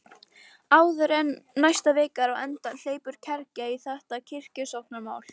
Áður en næsta vika er á enda hleypur kergja í þetta kirkjusóknarmál.